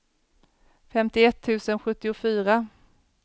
femtioett tusen sjuttiofyra